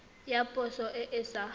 ya poso e e sa